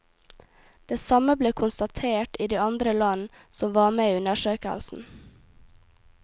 Det samme ble konstatert i de andre land som var med i undersøkelsen.